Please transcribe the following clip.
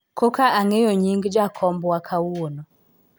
koka ang'eyo nying jakombwa kawuono